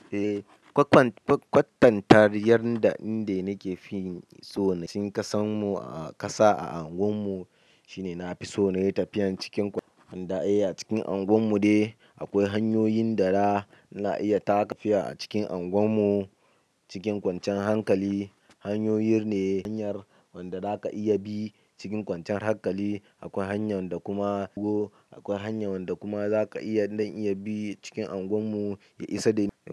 Eh, kwatantar yadda inda nake fi so na ci kasan mu a ƙasa a unguwar mu shine na fi so na yi tafiya cikin kwance. Handa e a cikin unguwar mu dai akwai hanyoyin da na iya taka tafiya a cikin unguwar mu cikin kwanciyan hankali. Hanyoyi ne hanyar wanda za ka iya bi cikin kwanciyan hankali. Akwai hanyan da kuma akwai hanya wanda kuma za ka iya zan iya bi cikin unguwar mu ya isa da ni.